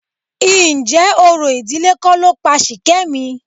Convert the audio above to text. Ǹjẹ́ orò ìdílé kọ́ ló pa Ṣìkẹ́mi?